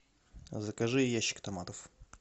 закажи ящик томатов